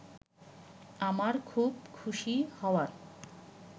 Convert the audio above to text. আমার খুব খুশি হওয়ার